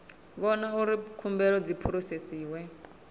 vhona uri khumbelo dzi phurosesiwa